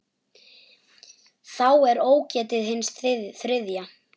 Þá er ógetið hins þriðja.